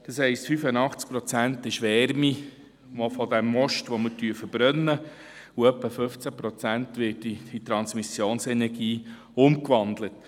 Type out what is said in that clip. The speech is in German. Das heisst, 85 Prozent ist Wärme, die durch das Verbrennen des Treibstoffs entsteht, und etwa 15 Prozent wird in Transmissionsenergie umgewandelt.